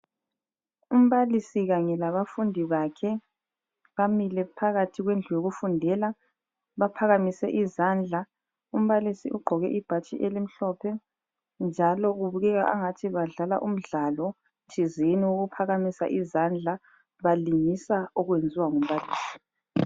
Umbalisi kanye labafundi bakhe bamile phakathi kwendlu yokufundela baphakamise izandla. Umbalisi ugqoke ibhatshi elimhlophe njalo kubukeka angathi badlala umdlalo thizeni owokuphakamisa izandla balingisa okwenziwa ngumbalisi.